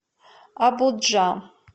абуджа